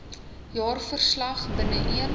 jaarverslag binne een